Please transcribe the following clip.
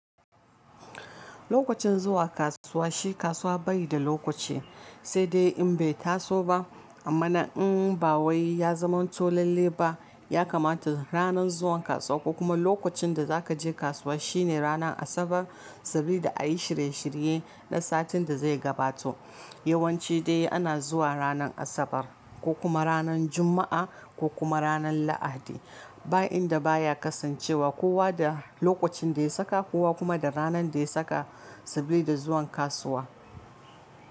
Lokacin zuwa kasuwa shi kasuwa bayi da lokaci sai dai in bai taso ba amma na in ba wai ya zamanto lalle ba ya kamata ranar zuwan kasuwa ko kuma lokacin da zakaje kasuwa shine ranar Asabar saboda ayi shirye shirye na satin da zai gabato. Yawanci dai ana zuwa ranar Asabar ko kuma ranar Jumma'a ko kuma ranar Lahadi ba inda baya kasancewa kowa da lokacin da ya saka kowa kuma da ranar da ya saka saboda zuwan kasuwa.